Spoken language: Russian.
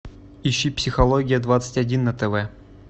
ищи психология двадцать один на тв